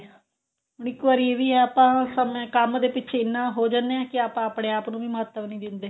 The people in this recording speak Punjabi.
ਹੁਣ ਇੱਕ ਵਾਰੀ ਇਹ ਵੀ ਏ ਆਪਾਂ ਸਮੇ ਕੰਮ ਦੇ ਪਿੱਛੇ ਇੰਨਾ ਹੋ ਜਾਂਦੇ ਆ ਕੀ ਆਪਾਂ ਆਪਣੇ ਆਪ ਨੂੰ ਵੀ ਮਹੱਤਵ ਨਹੀਂ ਦਿੰਦੇ